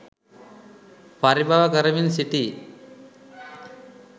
පරිබව කරමින් සිටී.